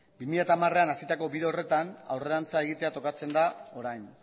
bi mila hamarean hasitako bide horretan aurrerantz egitea tokatzen da orain